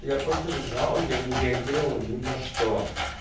я просто лежал я не реагировал ни на что